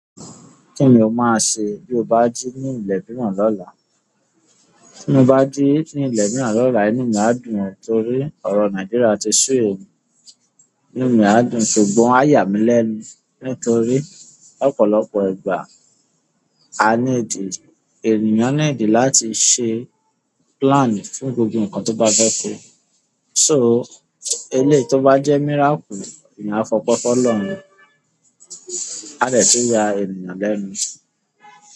Kíni o máa ṣe bí o bá jí ní ilé mìíràn lọ́la? Bí mo bá jí ní ilé mìíràn lọ́la, inú mi á dùn torí ọ̀rọ̀ Nàìjíríà ti sú mi. Inú mi á dùn, ṣùgbọ́n a yà mí lẹ́nu nítorí lọ́pọ̀lọpọ̀ ìgbà, a ní dì, ènìyàn ní dì láti ṣe plan fún gbogbo nǹkan tó bá fẹ́ se. So eléyìí tó bá jẹ́ miracle, ìyan a fi ope fún ọlọ́run, a dè tún ya ènìyàn lẹ́nu.